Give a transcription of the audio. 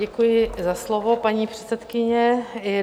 Děkuji za slovo, paní předsedkyně.